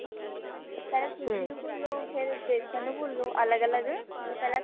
ਪਹਿਲਾਂ ਸੂਜੀ ਨੂੰ ਭੁੰਨ ਲਓ ਫੇਰ ਬੇਸਨ ਨੂੰ ਭੁੰਨ ਲਓ ਅਲੱਗ ਅਲੱਗ ਪਹਿਲਾਂ ਸੂਜੀ